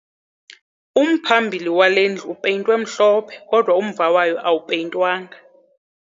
Umphambili wale ndlu upeyintwe mhlophe kodwa umva wayo awupeyintwanga.